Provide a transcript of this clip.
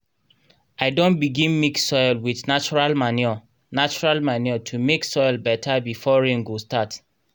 i don begin mix soil with natural manure natural manure to make soil better before rain go start.